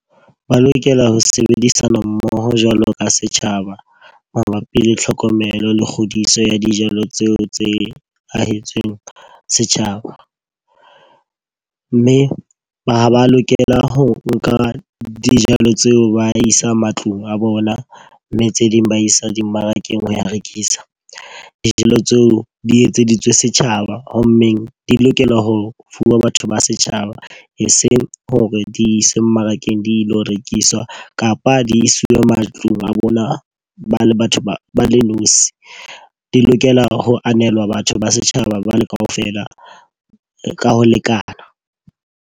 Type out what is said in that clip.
Ba lokela ho sebedisana mmoho jwalo ka setjhaba. Mabapi le tlhokomelo le kgodiso ya dijalo tseo tse ahetsweng setjhaba. Mme ha ba lokela ho nka dijalo tseo ba isang matlung a bona, mme tse ding ba isa dimmarakeng ho rekisa. Dijalo tseo di etseditswe setjhaba. Ho mmeng di lokela ho fuwa batho ba setjhaba. Eseng hore di isa mmarakeng di lo rekiswa kapa di isiwe matlung a bona ba le batho ba ba le nosi. Di lokela ho hanelwa batho ba setjhaba ba le ka ofela ka ho lekana.